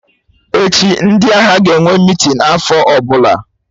Echi, ndị ahịa ga-enwe meeting afọ ọbụla